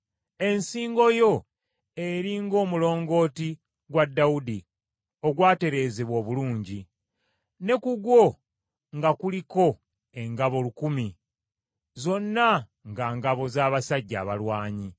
Ensingo yo eri ng’omulongooti gwa Dawudi, ogwatereezebwa obulungi; ne ku gwo nga kuliko engabo lukumi, zonna nga ngabo z’abasajja abalwanyi.